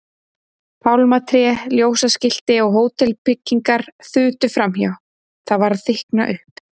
Pálmatré, ljósaskilti og hótelbyggingar þutu framhjá, það var að þykkna upp.